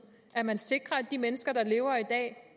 at man sikrer at de mennesker der lever i dag